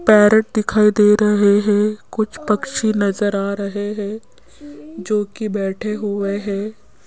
Parrot दिखाई दे रहे हैं कुछ पक्षी नजर आ रहे हैं जो की बैठे हुए हैं।